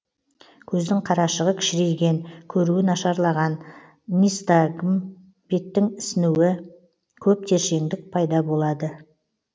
көздің қарашағы кішірейген көруі нашарлаған нистагм беттің ісінуі көп тершеңдік пайда болады